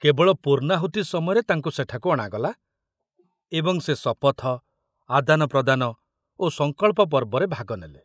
କେବଳ ପୂର୍ଣ୍ଣାହୁତି ସମୟରେ ତାଙ୍କୁ ସେଠାକୁ ଅଣାଗଲା ଏବଂ ସେ ଶପଥ, ଆଦାନପ୍ରଦାନ ଓ ସଂକଳ୍ପ ପର୍ବରେ ଭାଗ ନେଲେ।